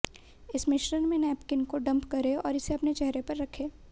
इस मिश्रण में नैपकिन को डंप करें और इसे अपने चेहरे पर रखें